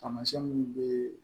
Taamasiyɛn mun be